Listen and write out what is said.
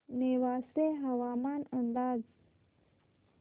नेवासे हवामान अंदाज